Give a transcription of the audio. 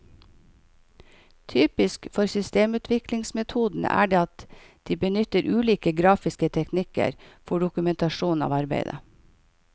Typisk for systemutviklingsmetodene er at de benytter ulike grafiske teknikker for dokumentasjonen av arbeidet.